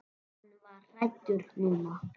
Hann var hræddur núna.